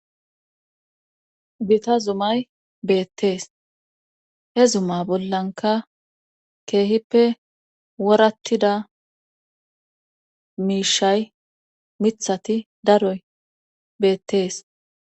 gita zumay beettees he zuma bollanka keehippe worattida miishay mithati daroy beettees